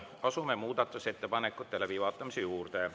Asume muudatusettepanekute läbivaatamise juurde.